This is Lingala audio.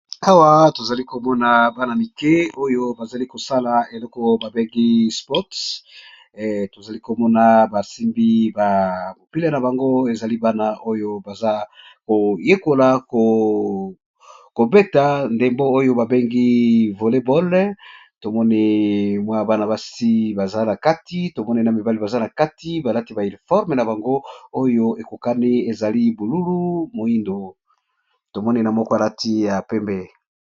Awa tozali komona bana mike oyo bazali kosala eloko babengi sport, tozali komona basimbi ba mopile na bango ezali bana oyo baza koyekola kobeta ndembo oyo babengi voleboll. tomone mwa bana basi baza na kati tomone na mibali baza na kati balati ba iliforme na bango oyo ekokani ezali bululu moindo tomone na moko alati ya pembe.